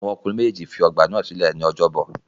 Àwọn ọkùnrin méjèèjì fi ọ̀gba náà sílẹ̀ ní ọjọ́bọ̀.